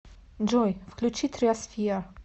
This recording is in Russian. джой включи триосфер